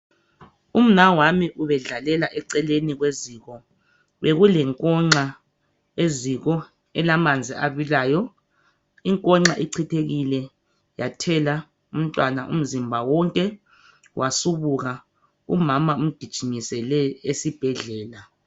Umnawami ubedlalela eceleni kweziko. Bekule nkonxa eziko elamanzi abilayo. Inkonxa ichithekile yathela umntwana umzimba wonke wasubuka. Umama umgijimisele esibhedlela.